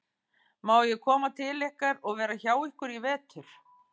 Má ég koma til ykkar og vera hjá ykkur í vetur?